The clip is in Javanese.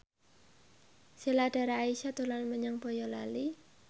Sheila Dara Aisha dolan menyang Boyolali